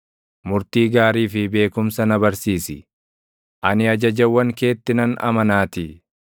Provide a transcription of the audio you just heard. Murtii gaarii fi beekumsa na barsiisi; ani ajajawwan keetti nan amanaatii.